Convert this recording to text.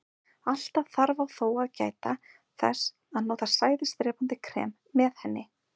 Alltaf þarf á þó að gæta þess að nota sæðisdrepandi krem með henni.